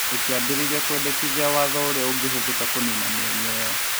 na ĩkĩambĩrĩria kwendekithia watho ũrĩa ũngĩhũthĩka kũniina mĩenya ĩo.